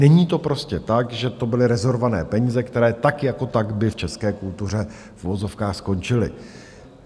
Není to prostě tak, že to byly rezervované peníze, které tak jako tak by v české kultuře v uvozovkách skončily.